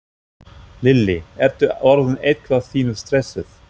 Lillý: Ertu orðin eitthvað pínu stressuð?